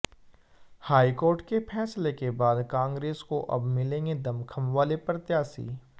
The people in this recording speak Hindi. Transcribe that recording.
हाईकोर्ट के फैसले के बाद कांग्रेस को अब मिलेंगे दमखम वाले प्रत्याशी